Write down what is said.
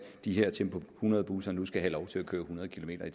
de her tempo hundrede busser nu skal have lov til at køre hundrede kilometer